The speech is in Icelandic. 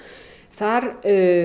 þar